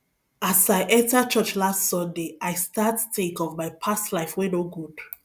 as i enter church last sunday i start think of my past life wey no good